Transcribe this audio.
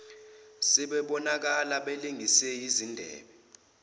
sebebonakala belengise izindebe